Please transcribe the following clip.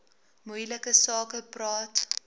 moeilike sake praat